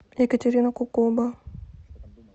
екатерина кукоба